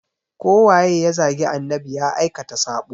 Ko waye ya zagi annabi ya aikata sabo.